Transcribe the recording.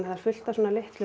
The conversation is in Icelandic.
er fullt af svona litlum